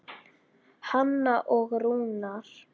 Hanna og Rúnar.